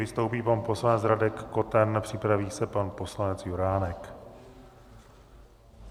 Vystoupí pan poslanec Radek Koten, připraví se pan poslanec Juránek.